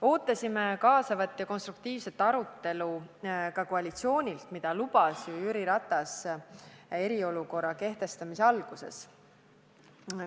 Ootasime kaasavat ja konstruktiivset arutelu ka koalitsioonilt ning Jüri Ratas eriolukorra kehtestamise alguses seda ka lubas.